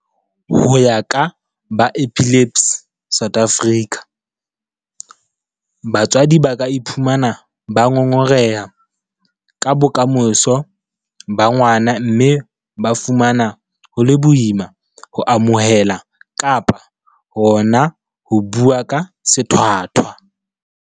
Ho ya ka ba Epilepsy South Africa, batswadi ba ka iphumana ba ngongoreha ka bokamoso ba ngwana mme ba fumana ho le boima ho amohela kapa hona ho bua ka sethwathwa.